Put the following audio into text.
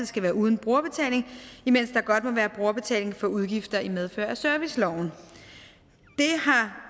skal være uden brugerbetaling imens der godt må være brugerbetaling for udgifter i medfør af serviceloven